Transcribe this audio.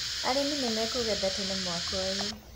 arĩmi nĩmekũgetha tene mwaka ũyũ